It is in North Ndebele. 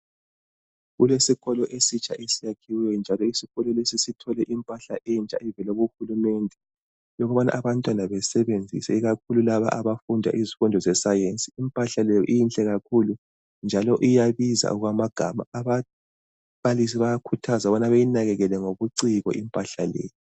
Kule sikolo esitsha esiyakhiweyo njalo isikolo lesi sithole impahla entsha evela kuhulumende yokubana abantwana besebenzise ikakhulu laba abafunda izifundo zesayenzi. lmpahla leyi inhle kakhulu njalo iyabiza okwamagama. Ababalisi bayakuthazwa ukubana beyinakekele ngobuciko impahla leyi.